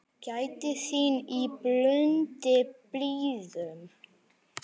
Gæta þín í blundi blíðum.